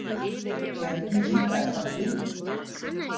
Bjarni kinkaði kolli.